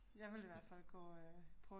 Ja